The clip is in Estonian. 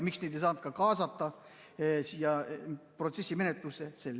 Miks neid ei saanud kaasata siia protsessimenetlusse?